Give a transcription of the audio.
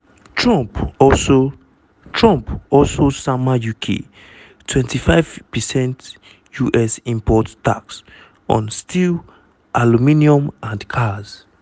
trump also trump also sama uk 25 percent us import tax on steel aluminium and cars.